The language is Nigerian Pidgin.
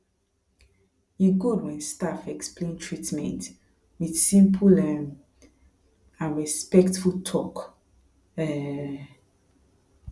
e good when staff explain treatment with simple um and respectful talk um